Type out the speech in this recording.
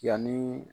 Yanni